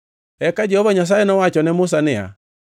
Eka Jehova Nyasaye nowacho ne Musa niya,